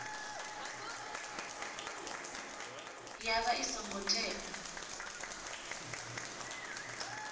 ya vha i songo tea